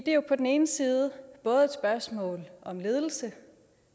er jo på den ene side både et spørgsmål om ledelse